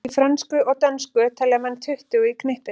Í frönsku og dönsku telja menn tuttugu í knippið.